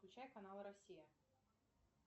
включай канал россия